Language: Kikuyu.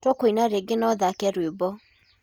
tũkanĩa rĩngĩ na ũthake rwĩmbo